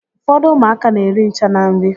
Ụfọdụ ụmụaka n'eri ncha na nri